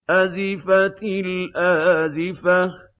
أَزِفَتِ الْآزِفَةُ